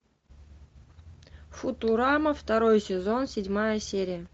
футурама второй сезон седьмая серия